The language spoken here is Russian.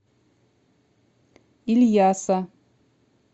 ильяса